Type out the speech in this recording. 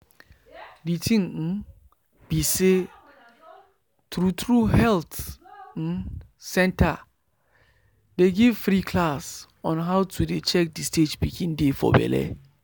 the thing um be say true true health um centers dey give free class on how to dey check the stage pikin dey for belle.